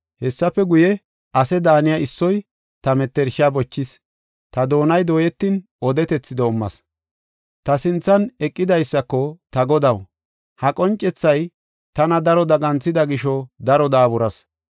Hessafe guye, ase daaniya issoy ta mettersha bochis; ta doonay dooyetin, odetethi doomas. Ta sinthan eqidaysako, “Ta godaw, ha qoncethay tana daro daganthida gisho daro daaburas.